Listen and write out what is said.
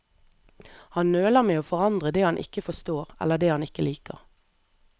Han nøler med å forandre det han ikke forstår eller det han ikke liker.